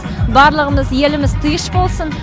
барлығымыз еліміз тиыш болсын